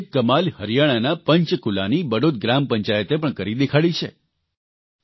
આવી જ એક કમાલ હરિયાણાના પંચકૂલાની બડૌત ગ્રામ પંચાયતે પણ કરી દેખાડી છે